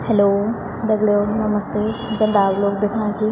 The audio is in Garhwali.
हेल्लो दगड़ियों नमस्ते जन आप लोग दिखणा छी --